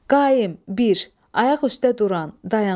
Qaim, bir, ayaq üstə duran, dayanan.